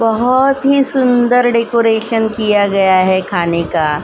बहुत ही सुंदर डेकोरेशन किया गया है खाने का --